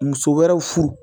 Muso wɛrɛw furu